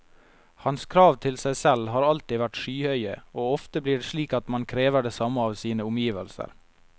Hans krav til seg selv har alltid vært skyhøye, og ofte blir det slik at man krever det samme av sine omgivelser.